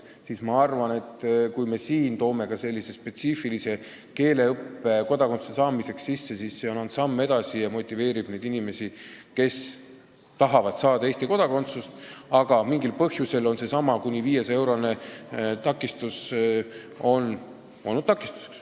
Seega ma arvan, et kui me toome siia sisse spetsiifilise keeleõppe kodakondsuse saamiseks, siis see on samm edasi ja motiveerib neid inimesi, kes tahavad saada Eesti kodakondsust, aga kellele on mingil põhjusel seesama kuni 500 eurot olnud takistuseks.